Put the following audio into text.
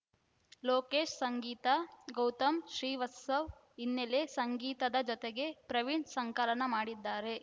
ಲೋಕೇಶ್‌ ಸಂಗೀತಗೌತಮ್‌ ಶ್ರೀವತ್ಸವ ಹಿನ್ನೆಲೆ ಸಂಗೀತದ ಜತೆಗೆ ಪ್ರವೀಣ್‌ ಸಂಕಲನ ಮಾಡಿದ್ದಾರೆ